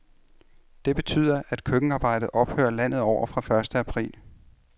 Det betyder, at køkkenarbejdet ophører landet over fra første april.